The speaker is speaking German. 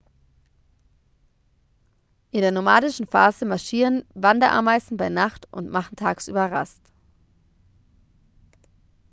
in der nomadischen phase marschieren wanderameisen bei nacht und machen tagsüber rast